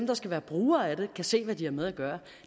der skal være brugere af det kan se hvad de har med at gøre